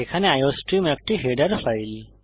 এখানে আইওস্ট্রিম একটি header file